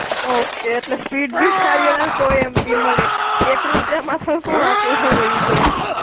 Okay, એટલે speed ભી સારી અને સોએ MB મળે. એક રૂપિયામાં તો આપડું સુ વયું જવાનું.